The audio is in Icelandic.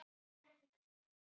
Mörg þeirra eru löng.